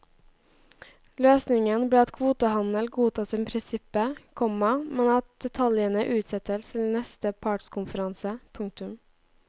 Løsningen ble at kvotehandel godtas i prinsippet, komma men at detaljene utsettes til neste partskonferanse. punktum